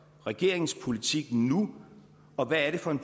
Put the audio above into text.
regeringens politik nu og hvad er det for en